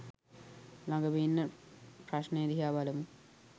ලගම ඉන්න ප්‍රශ්නය දිහා බලමු